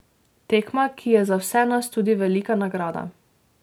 Tekma, ki je za vse nas tudi velika nagrada.